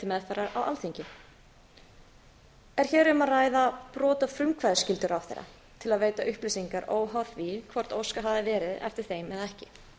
meðferðar á alþingi er hér um að ræða brot á frumkvæðisskyldu ráðherra til að veita upplýsingar óháð því hvort óskað hafi verið eftir þeim eða ekki